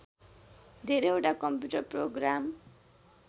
धेरैवटा computer programme